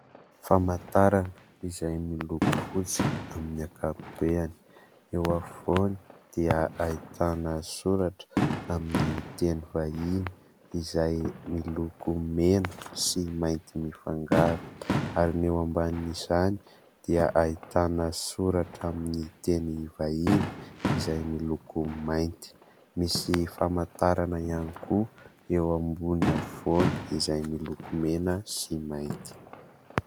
Famantarana izay miloko fotsy amin'ny ankapobeny. Eo afovoany dia ahitana soratra amin'ny teny vahiny izay miloko mena sy mainty mifangaro ary ny eo ambanin' izany dia ahitana soratra amin'ny teny vahiny izay miloko mainty. Misy famantarana ihany koa eo ambony afovoany izay miloko mena sy mainty.